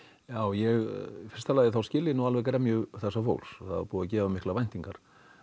já ég í fyrsta lagi skil ég nú alveg gremju þessa fólks það var búið að gera miklar væntingar